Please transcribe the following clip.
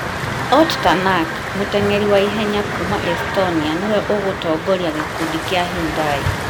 Ott Tanak, mũteng'eri wa ihenya kuuma Estonia nĩwe ũgũtongoria gĩkundi kĩa Hyundai,